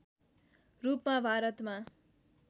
रूपमा भारतमा